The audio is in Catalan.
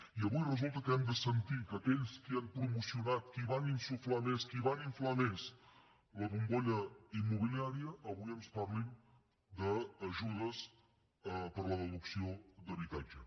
i avui resulta que hem de sentir que aquells qui han promocionat qui van insuflar més qui van inflar més la bombolla immobiliària avui ens parlin d’ajudes per a la deducció d’habitatge